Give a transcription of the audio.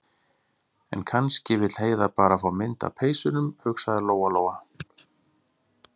En kannski vill Heiða bara fá mynd af peysunum, hugsaði Lóa- Lóa.